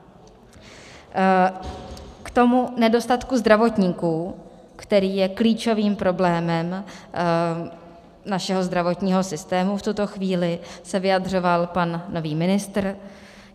K tomu nedostatku zdravotníků, který je klíčovým problémem našeho zdravotního systému v tuto chvíli, se vyjadřoval pan nový ministr.